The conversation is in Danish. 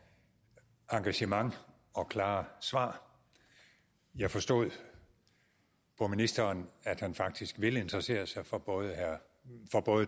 engagement og klare svar jeg forstod på ministeren at han faktisk vil interessere sig for både